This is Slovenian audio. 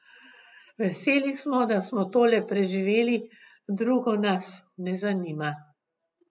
Veseli smo, da smo tole preživeli, drugo nas ne zanima.